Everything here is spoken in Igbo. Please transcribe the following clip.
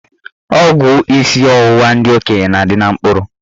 Ọgwụ isi ọwụwa ndị okenye na-adị na mkpụrụ.